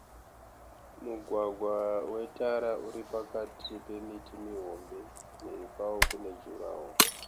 Mugwagwa wetara uri pakati pemiti mihombe. Mhiri kwawo kune (durawall)